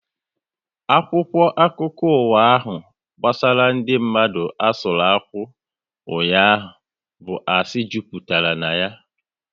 Akwụkwọ akụkọ ụwa ahu gbasara ndị mmadu asụru akwụ ụnyaahụ bụ asị jupụtara ya